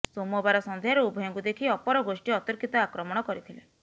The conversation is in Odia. ସୋମବାର ସଂଧ୍ୟାରେ ଉଭୟଙ୍କୁ ଦେଖି ଅପରଗୋଷ୍ଠୀ ଅତର୍କିତ ଆକ୍ରମଣ କରିଥିଲେ